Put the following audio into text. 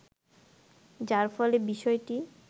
যার ফলে বিষয়টি